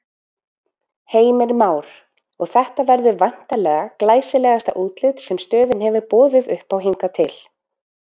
Heimir Már: Og þetta verður væntanlega glæsilegasta útlit sem stöðin hefur boðið uppá hingað til?